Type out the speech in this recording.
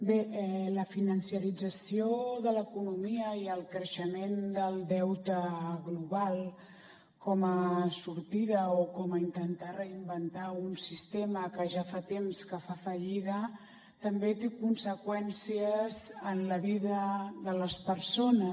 bé la finançarització de l’economia i el creixement del deute global com a sortida o com a intentar reinventar un sistema que ja fa temps que fa fallida també té conseqüències en la vida de les persones